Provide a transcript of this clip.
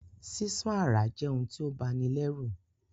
Sísán àráa je oun ti o bani lẹ́rù